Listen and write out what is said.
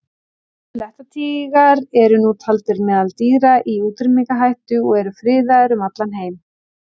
Blettatígrar eru nú taldir meðal dýra í útrýmingarhættu og eru friðaðir um allan heim.